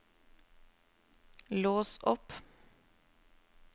lås opp